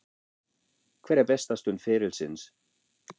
Hver er besta stund ferilsins?